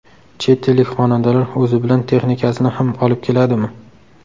Chet ellik xonandalar o‘zi bilan texnikasini ham olib keladimi?